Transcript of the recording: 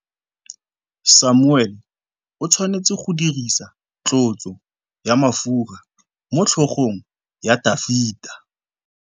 Samuele o tshwanetse go dirisa tlotsô ya mafura motlhôgong ya Dafita.